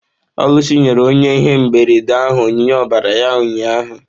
Oluchi nyere onye ihe mberede ahụ onyinye ọbara ya ụnyahụ